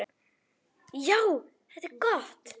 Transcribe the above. Já, þetta er gott!